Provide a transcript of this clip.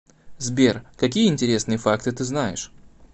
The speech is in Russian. сбер какие интересные факты ты знаешь